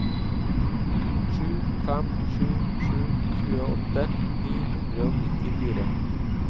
sju fem sju sju tjueåtte ni hundre og nittifire